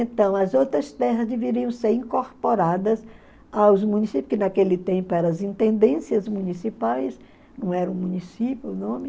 Então, as outras terras deveriam ser incorporadas aos municípios, que naquele tempo eram as intendências municipais, não era o município o nome,